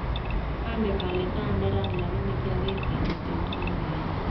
Onge ole taa neran, lakini kioger kemiten twan milele.